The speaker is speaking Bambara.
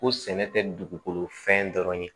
Ko sɛnɛ tɛ dugukolo fɛn dɔrɔn ye